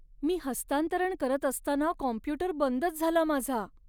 मी हस्तांतरण करत असताना कॉम्प्यूटर बंदच झाला माझा.